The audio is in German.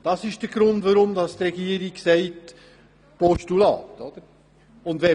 Das ist der Grund, weshalb die Regierung ein Postulat empfiehlt.